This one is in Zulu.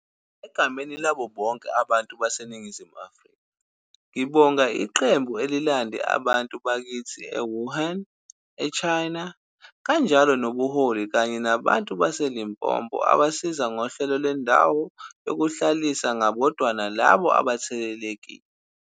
Egameni labo bonke abantu baseNingizimu Afrika ngibonga iqembu ebelilande abantu bakithi e-Wuhan, e-China, kanjalo nobuholi kanye nabantu baseLimpopo abasiza ngohlelo lendawo yokuhlalisa ngabodwana labo abathelelekile.